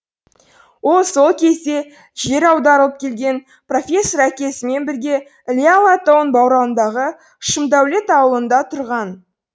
ол сол кезде жер аударылып келген профессор әкесімен бірге іле алатауының баурайындағы шымдәулет ауылында тұрған